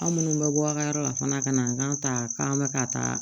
Aw minnu bɛ bɔ aw ka yɔrɔ la fana ka na an kan ta k'an bɛ ka taa